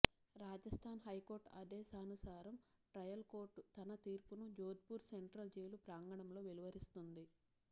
Rajasthan high court ఆదేశానుసారం trial court తన తీర్పును జోధ్పూర్ సెంట్రల్ జైలు ప్రాంగణంలో వెలువరిస్తుంది